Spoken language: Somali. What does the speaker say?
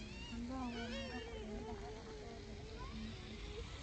Cambaha waa miro kulaylaha ah oo leh dhadhan macaan.